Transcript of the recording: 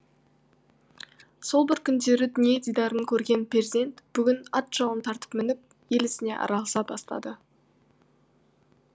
сол бір күндері дүние дидарын көрген перзент бүгін ат жалын тартып мініп ел ісіне араласа бастады